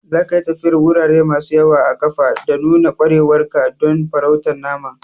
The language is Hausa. Zaka yi tafiyar wurare masu yawa a ƙafa da nuna ƙwarewar ka don farautar naman.